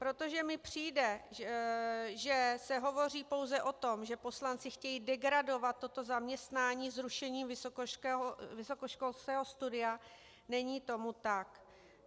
Protože mi přijde, že se hovoří pouze o tom, že poslanci chtějí degradovat toto zaměstnání zrušením vysokoškolského studia, není tomu tak.